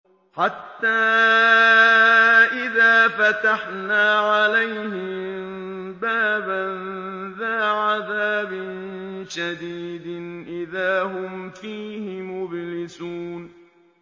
حَتَّىٰ إِذَا فَتَحْنَا عَلَيْهِم بَابًا ذَا عَذَابٍ شَدِيدٍ إِذَا هُمْ فِيهِ مُبْلِسُونَ